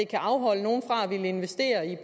kan afholde nogle fra at ville investere i